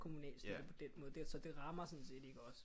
Kommunal støtte på den måde så det rammer sådan set ikke os